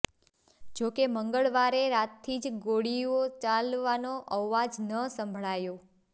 જો કે મંગળવારે રાતથી જ ગોળીઓ ચાલવાનો અવાજ ન સંભળાયો